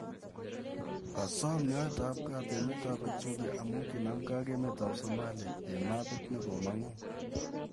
Kasoom nyoeet ap kaat emet at ethiopia amu kanamgei ak emet ap somalia eng' meebit nekoomong'u